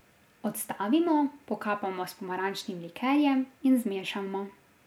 Odstavimo, pokapamo s pomarančnim likerjem in zmešamo.